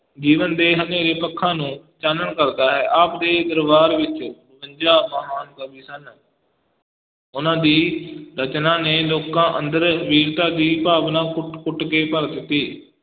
ਜੀਵਨ ਦੇ ਹਨੇਰੇ ਪੱਖਾਂ ਨੂੰ ਚਾਨਣ ਕਰਦਾ ਹੈ, ਆਪ ਦੇ ਦਰਬਾਰ ਵਿੱਚ ਬਵੰਜਾ ਮਹਾਨ ਕਵੀ ਸਨ ਉਨਾਂ ਦੀ ਰਚਨਾ ਨੇ ਲੋਕਾਂ ਅੰਦਰ ਵੀਰਤਾ ਦੀ ਭਾਵਨਾ ਕੁਟ ਕੁਟ ਕੇ ਭਰ ਦਿੱਤੀ।